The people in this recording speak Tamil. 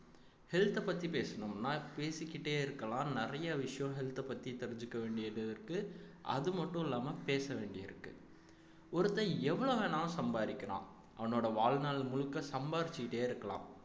health அ பத்தி பேசணும்ன்னா பேசிக்கிட்டே இருக்கலாம் நிறைய விஷயம் health அ பத்தி தெரிஞ்சுக்க வேண்டியது இருக்கு அது மட்டும் இல்லாம பேச வேண்டியிருக்கு ஒருத்தன் எவ்வளவு வேணாலும் சம்பாதிக்கலாம் அவனோட வாழ்நாள் முழுக்க சம்பாரிச்சுக்கிட்டே இருக்கலாம்